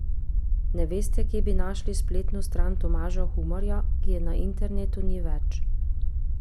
Ne veste, kje bi našli spletno stran Tomaža Humarja, ki je na internetu ni več?